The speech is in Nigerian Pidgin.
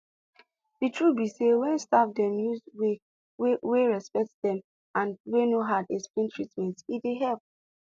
the truth be say when staff dem use way wey wey respect dey am and wey no hard explain treatment e dey help